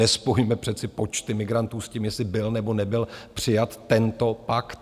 Nespojujme přece počty migrantů s tím, jestli byl, nebo nebyl přijat tento pakt.